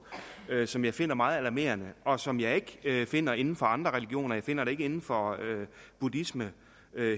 som jeg finder meget alarmerende og som jeg ikke finder inden for andre religioner jeg finder den ikke inden for buddhisme